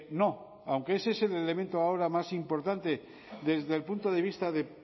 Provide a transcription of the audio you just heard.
no aunque ese es el elemento ahora más importante desde el punto de vista de